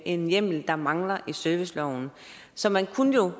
en hjemmel der mangler i serviceloven så man kunne jo